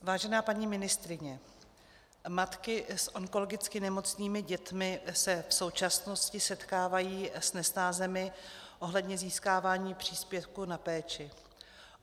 Vážená paní ministryně, matky s onkologicky nemocnými dětmi se v současnosti setkávají s nesnázemi ohledně získávání příspěvků na péči.